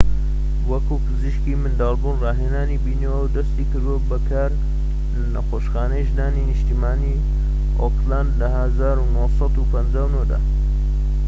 وەکو پزیشکی منداڵبوون ڕاهێنانی بینیوە و دەستی کردوە بە کار لە نەخۆشخانەی ژنانی نیشتیمانیی ئۆکلەند لە ١٩٥٩ دا